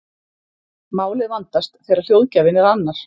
Málið vandast þegar hljóðgjafinn er annar.